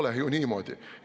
No ei ole ju niimoodi!